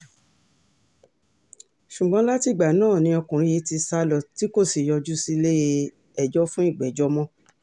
ṣùgbọ́n látìgbà náà ni ọkùnrin yìí ti sá lọ tí kò sì yọjú sílẹ̀-ẹjọ́ fún ìgbẹ́jọ́ mọ́